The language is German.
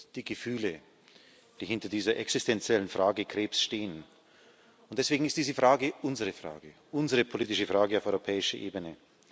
Das sind die Gefühle, die hinter dieser existentiellen Frage Krebs stehen, und deswegen ist diese Frage unsere Frage, unsere politische Frage auf europäischer Ebene.